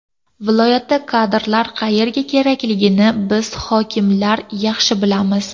Viloyatda kadrlar qayerga kerakligini biz hokimlar yaxshi bilamiz.